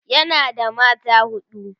yana da mata huɗu